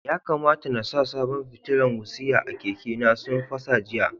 Ya kamata n sa sabon fitilan wutsiya a keke na, sun fasa jiya.